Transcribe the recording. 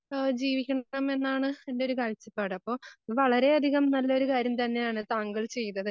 ആഹ് ജീവിക്കണമെന്നാണ് എൻറെയൊരു കാഴ്ചപ്പാട് അപ്പൊ ഇത് വളരെയധികം കാര്യം തന്നെയാണ് താങ്കൾ ചെയ്തത്.